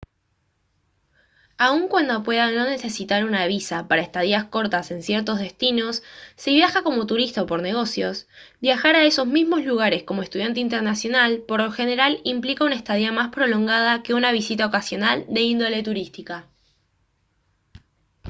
aun cuando pueda no necesitar una visa para estadías cortas en ciertos destinos si viaja como turista o por negocios viajar a esos mismos lugares como estudiante internacional por lo general implica una estadía más prolongada que una visita ocasional de índole turística